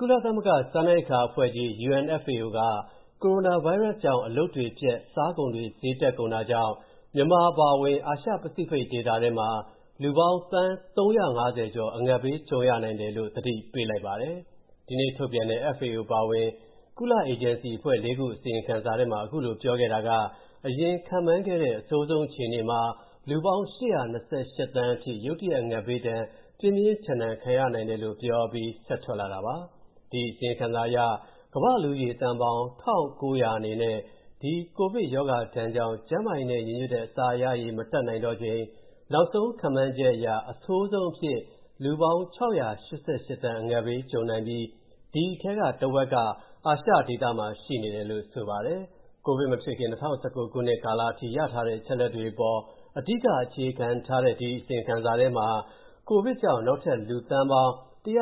ကုလသမဂ္ဂ စားနပ်ရိက္ခာအဖွဲ့ကြီး (UNFAO) က ကိုရိုနာဗိုင်းရပ်စ်ကြောင့် အလုပ်တွေပျက်၊ စားကုန်တွေ ဈေးတက်ကုန်တာကြောင့် မြန်မာအပါအဝင် အာရှပစိဖိတ်ဒေသထဲမှာ လူပေါင်း သန်း ၃၅၀ ကျော် အငတ်ဘေးကြုံ ရနိုင်တယ်လို့ သတိပေးလိုက်ပါတယ်။ ဒီနေ့ထုတ်ပြန်တဲ့ FAO အပါအဝင် ကုလအေဂျင်စီအဖွဲ့ ၄ ခု အစီရင်ခံစာထဲမှာ အခုလိုပြောခဲ့တာက အရင်ခန့်မှန်းခဲ့တဲ့ အဆိုးဆုံးအခြေအနေမှာ လူပေါင်း ၈၂၈ သန်းအထိ ရုတ်တရက် အငတ်ဘေးဒဏ် ပြင်းပြင်းထန်ထန်ခံရနိုင်တို့လို့ ပြောအပြီး ဆက်ထွက်လာတာပါ။ ဒီအစီရင်ခံစာအရ ကမ္ဘာ့လူဦးရေသန်းပေါင်း ၁,၉၀၀ အနေနဲ့ ဒီ ကိုဗစ်ရောဂါဒဏ်ကြောင့် ကျန်းမာရေးနဲ့ ညီညွှတ်တဲ့ အစားအစာရရေး မတတ်နိုင်တော့ချိန် နောက်ဆုံးခန့်မှန်းချက်အရ အဆိုးဆုံးအဖြစ် လူပေါင်း ၆၈၈ သန်း အငတ်ကြုံနိုင်ပြီး ဒီထဲကတဝက်က အာရှဒေသမှာရှိနေတယ်လို့ ဆိုပါတယ်။ ကိုဗစ်မဖြစ်ခင် ၂၀၁၉ ခုနှစ်ကာလအထိ ရထားတဲ့ အချက်အလက်တွေအပေါ် အဓိကအခြေခံထားတဲ့ ဒီအစီရင်ခံစာထဲမှာ ကိုဗစ်ကြောင့် နောက်ထပ်လူပေါင်း သန်း